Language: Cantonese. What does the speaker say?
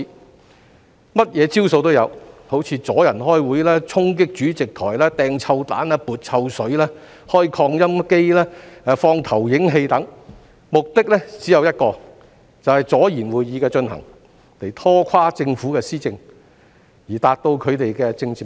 他們甚麼花招也有，好像阻礙開會、衝擊主席、扔臭彈、潑臭水、開擴音機、放投影器等，這些行為的目的只有一個，就是阻延會議的進行，拖垮政府的施政，以達到他們的政治目的。